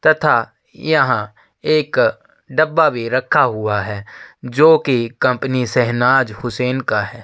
तथा यहाँ एक डब्बा भी रखा हुआ है जोकि कंपनी शहनाज हुसैन का है।